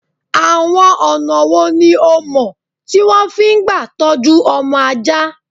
Àwọn ọ̀nà wò ni ìọ mọ̀ tí wọ́n fi ń gbà tọjú ọmọ ajá?